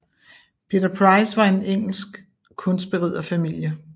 Peter Price var af en engelsk kunstberiderfamilie